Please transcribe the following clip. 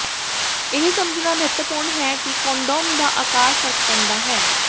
ਇਹ ਸਮਝਣਾ ਮਹੱਤਵਪੂਰਣ ਹੈ ਕਿ ਕੰਡੋਮ ਦਾ ਆਕਾਰ ਫਰਕ ਪੈਂਦਾ ਹੈ